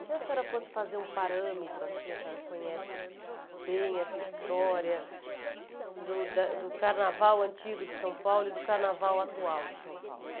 E se a senhora fosse fazer um parâmetro assim, a senhora conhece bem essa história do da do carnaval antigo de São Paulo e do carnaval atual de São Paulo?